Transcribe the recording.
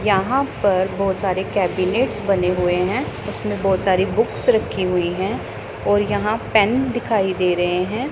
यहां पर बहुत सारे केबिनेट्स बने हुए हैं उसमें बहुत सारी बुक्स रखी हुई हैं और यहां पेन दिखाई दे रहे हैं।